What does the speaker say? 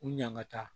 U ɲaga ta